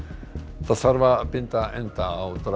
það þarf að binda enda á